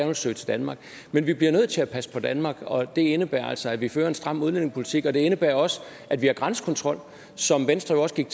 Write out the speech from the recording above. vil søge til danmark men vi bliver nødt til at passe på danmark og det indebærer altså at vi fører en stram udlændingepolitik og det indebærer også at vi har grænsekontrol som venstre jo også gik